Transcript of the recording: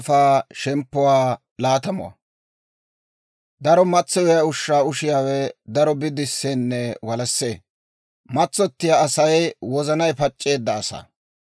Daro matsoyiyaa ushshaa ushiyaawe daro bidiseenne walassee; matsottiyaa Asay wozanay pac'c'eedda asaa.